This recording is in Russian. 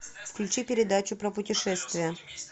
включи передачу про путешествия